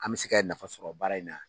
An mɛ se kɛ nafa sɔrɔ baara in na.